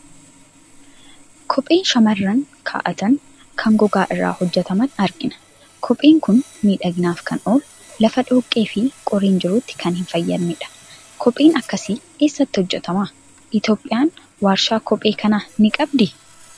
Kophee shamarran kaa'atan, kan gogaa irraa hojjetaman argina. Kopheen kun miidhaginaaf kan oolu, lafa dhoqqee fi qoreen jirutti kan hin fayyadnedha. Kopheen akkasii eessatti hojjetama? Itoophiyaan waarshaa kophee kanaa ni qabdii?